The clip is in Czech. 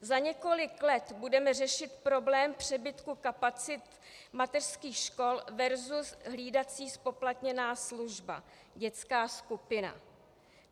Za několik let budeme řešit problém přebytku kapacit mateřských škol versus hlídací zpoplatněná služba, dětská skupina.